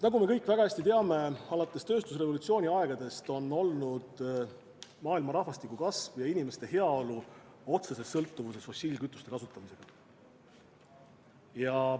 Nagu me kõik väga hästi teame, alates tööstusrevolutsiooni aegadest on maailma rahvastiku kasv ja inimeste heaolu olnud otseses sõltuvuses fossiilkütuste kasutamisest.